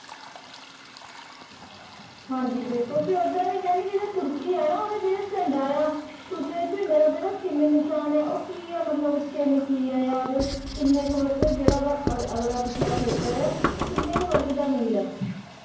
ਹਾਂਜੀ ਬਿਲਕੁਲ ਟੀ ਓਦਾਂ ਕੇਹੰਡੀ ਜੇਰੀ ਤੁਰਕੀ ਆ ਨਾ ਓਦਾ ਜੇਰਾ ਝੰਡਾ ਆ ਤੁਰਕੀ ਦੇ ਝੰਡਾ ਦਾ ਜੇਰਾ ਚਾਨ ਨਿਸ਼ਾਨ ਆ ਓਹ ਕੀ ਆ ਮਤਲਬ ਚਾਨ ਕੀ ਆ ਯਾ ਓਦੇ ਕੀਨੀ ਕੀ ਵਾਗ ਜੇਦਾ ਓਦਾ ਅਗਲਾ ਪਿਛਲਾ ਖੇਤਰ ਆ ਓਹ ਕੀਨੀ ਕੀ ਵਰਗ ਦਾ ਮੀਲ ਆ